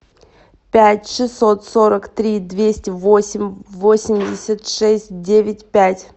пять шестьсот сорок три двести восемь восемьдесят шесть девять пять